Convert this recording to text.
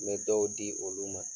N bɛ dɔw di olu ma.